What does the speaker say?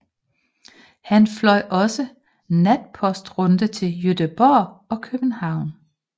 Han fløj også natpostruden til Göteborg og København